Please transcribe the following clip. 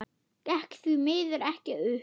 Gekk því miður ekki upp.